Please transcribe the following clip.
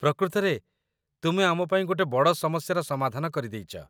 ପ୍ରକୃତରେ ତୁମେ ଆମ ପାଇଁ ଗୋଟେ ବଡ଼ ସମସ୍ୟାର ସମାଧାନ କରି ଦେଇଚ